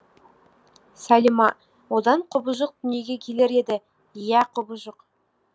салима одан құбыжық дүниеге келер еді иә құбыжық